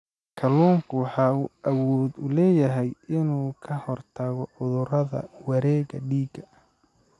Kalluunku wuxuu awood u leeyahay inuu ka hortago cudurrada wareegga dhiigga.